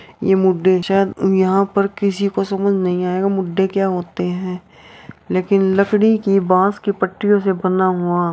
ये मुढे चेयर यहाँ पर किसी को समझ नहीं आएगा मुढे क्या होते है लेकिन लकड़ी की बांस की पट्टियों से बना हुआ --